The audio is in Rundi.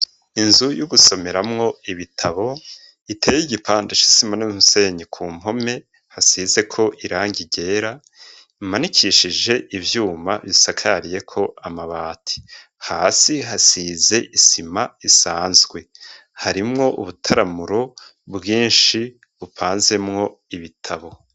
Inzu yo gusomeramwo ibitabo, iteye igipande c'isima n'umusenyi, ku mpome hasizeko irangi ryera, imanikishije ivyuma bisakariyeko amabati. Hasi hasize isima isanzwe. Harimwo ubutaramuro bwinshi bupanzemwo ibitabo.